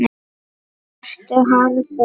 Ertu harður?